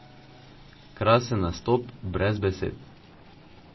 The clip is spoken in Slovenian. Krasen nastop, brez besed.